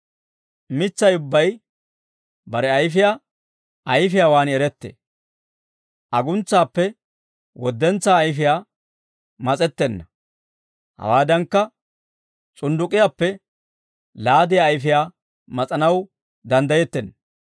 Mitsay ubbay bare ayfiyaa ayfiyaawaan erettee. Aguntsaappe woddentsaa ayfii mas'ettenna; hawaadankka, s'undduk'k'iyaappe laadiyaa ayfiyaa mas'anaw danddayettenna.